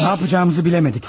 Nə edəcəyimizi bilmədik.